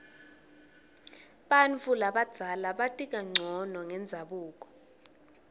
bantfu labadzala bati kancono ngendzabuko